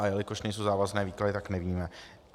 A jelikož nejsou závazné výklady, tak nevíme.